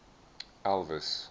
elvis